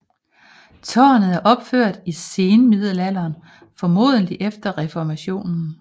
Tårnet er opført i senmiddelalderen formodentlig efter reformationen